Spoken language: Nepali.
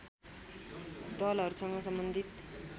दलहरूसँग सम्बन्धित